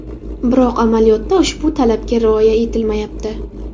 Biroq amaliyotda ushbu talabga rioya etilmayapti.